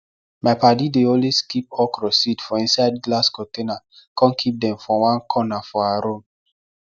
my paddy dey always keep okra seed for inside glass container com keep dem for onr corner for her room